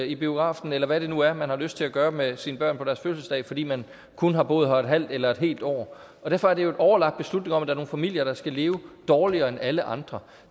i biografen eller hvad det nu er man har lyst til at gøre med sine børn på deres fødselsdag fordi man kun har boet her et halvt eller et helt år derfor er det jo en overlagt beslutning om at der er nogle familier der skal leve dårligere end alle andre